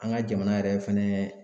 An ka jamana yɛrɛ fɛnɛ